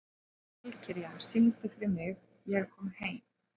Valkyrja, syngdu fyrir mig „Ég er kominn heim“.